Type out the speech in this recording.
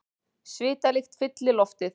Svitalykt fyllir loftið.